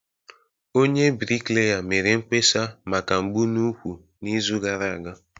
Onye bricklayer mere mkpesa maka mgbu n'úkwù n'izu gara aga